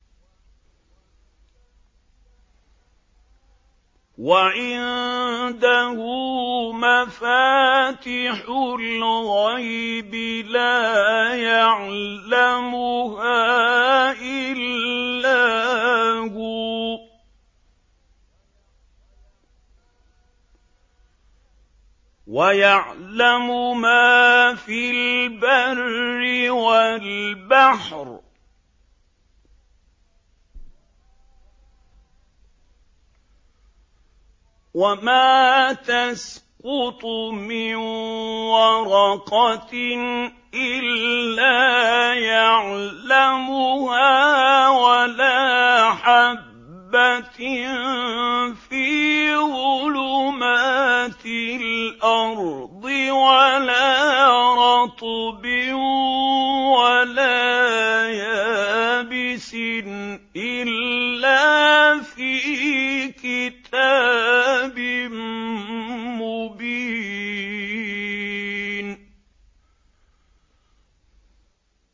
۞ وَعِندَهُ مَفَاتِحُ الْغَيْبِ لَا يَعْلَمُهَا إِلَّا هُوَ ۚ وَيَعْلَمُ مَا فِي الْبَرِّ وَالْبَحْرِ ۚ وَمَا تَسْقُطُ مِن وَرَقَةٍ إِلَّا يَعْلَمُهَا وَلَا حَبَّةٍ فِي ظُلُمَاتِ الْأَرْضِ وَلَا رَطْبٍ وَلَا يَابِسٍ إِلَّا فِي كِتَابٍ مُّبِينٍ